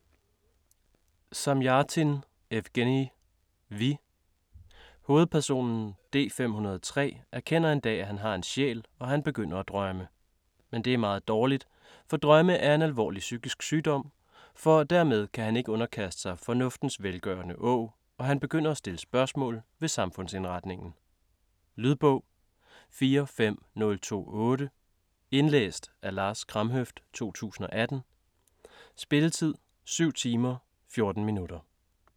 Zamjatin, Evgenij: Vi Hovedpersonen, D-503, erkender en dag, at han har en sjæl, og han begynder at drømme. Men det er meget dårligt, for "drømme er en alvorlig psykisk sygdom", for dermed kan han ikke underkaste sig "fornuftens velgørende åg", og han begynder at stille spørgsmål ved samfundsindretningen. Lydbog 45028 Indlæst af Lars Kramhøft, 2018. Spilletid: 7 timer, 14 minutter.